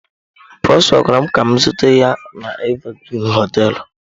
Prosper gwara m ka m zute ya na Evergreen hoteelu.